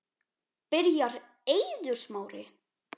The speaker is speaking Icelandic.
Byrjar Eiður Smári?